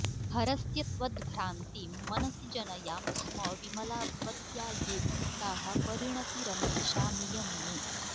हरस्य त्वद्भ्रान्तिं मनसि जनयाम् स्म विमला भवत्या ये भक्ताः परिणतिरमीषामियमुमे